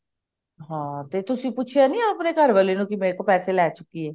ਹਾਂ ਤੇ ਤਸੀਂ ਪੁੱਛਿਆ ਨੀ ਆਪਣੇ ਘਰਵਾਲੇ ਨੂੰ ਮੇਰੇ ਤੋਂ ਪੈਸੇ ਲੈ ਚੁੱਕੀ ਹੈ